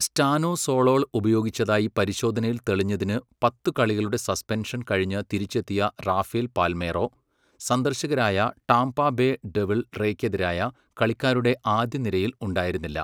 Stanozolol ഉപയോഗിച്ചതായി പരിശോധനയിൽ തെളിഞ്ഞതിന് പത്ത് കളികളുടെ സസ്പെൻഷൻ കഴിഞ്ഞ് തിരിച്ചെത്തിയ റാഫേൽ പാൽമേറോ, സന്ദർശകരായ ടാംപാ ബേ ഡെവിൾ റേയ്ക്കെതിരായ കളിക്കാരുടെ ആദ്യനിരയിൽ ഉണ്ടായിരുന്നില്ല.